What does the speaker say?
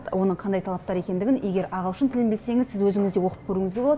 оның қандай талаптар екендігін егер ағылшын тілін білсеңіз сіз өзіңіз де оқып көруіңізге болады